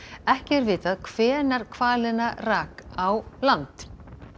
ekki er vitað hvenær hvalina rak á land